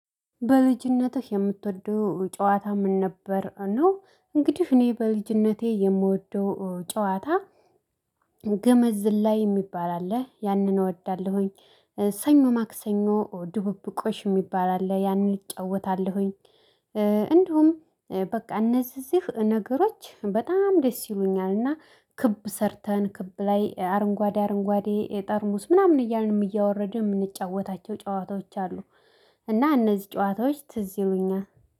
በልጅነትህ የምትወደው ጨዋታ ምን ነበር? ነው እንግዲህ እኔ በልጅነቴ የምወደው ጨዋታ ገመድ ዝላይ የሚባል አለ ያንን እወዳለሁኝ። ሰኞ ማክሰኞ ድብብቆሽ የሚባል አለ ያንን እጫወታለሁኝ። እንዲሁም በቃ እነዚህ ነገሮች በጣም ደስ ይሉኛል። እና ክብ ሰርተን ክብ ላይ አረንጓዴ አረንጓዴ ጠርሙስ ምናምን እያልን እያወረድን የምንጫወታቸው ጨዋታዎች አሉ። እና እነዚህ ጨዋታዎች ትዝ ይሉኛል